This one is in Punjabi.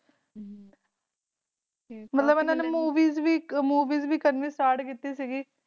ਮਤਲਬ, ਇਹਨਾਂ ਨੇ ਮੂਵੀਜ਼ ਵੀ ਕਰਨੀ ਸਟਾਰਟ ਕੀਤੀ ਸੀ